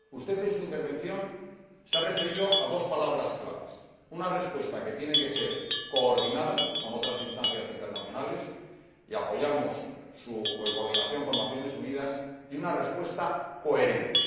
Usted, en su intervención, se ha referido a dos palabras claves una respuesta que tiene que ser coordinada con otras instancias internacionales y apoyamos su coordinación con las Naciones Unidas y una respuesta coherente.